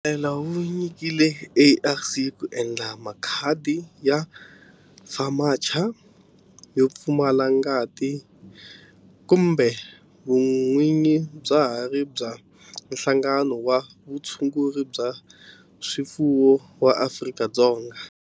Mpfumelelo wu nyikiwile ARC ku endla makhadi ya FAMACHA yo pfumala ngati kambe vun'winyi bya ha ri bya Nhlangano wa Vutshunguri bya swifuwo wa Afrika-Dzonga.